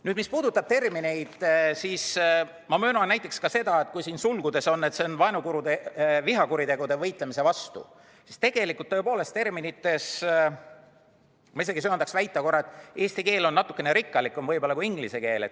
Nüüd, mis puudutab termineid, siis ma möönan näiteks seda, et kui siin sulgudes on, et see on vihakuritegude vastu võitlemine, siis ma isegi söandaks väita, et eesti keel on natukene rikkalikum kui inglise keel.